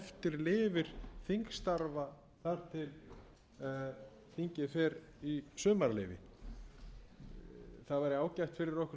lifir þingstarfa þar til þingið fer í sumarleyfi það væri ágætt fyrir okkur